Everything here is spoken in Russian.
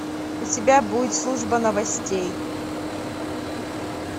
у тебя будет служба новостей